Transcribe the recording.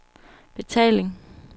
betaling